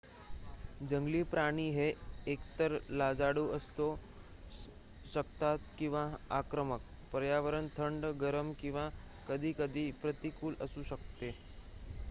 जंगली प्राणी हे एकतर लाजाळू असू शकतात किंवा आक्रमक पर्यावरण थंड गरम किंवा कधीकधी प्रतिकूल असू शकते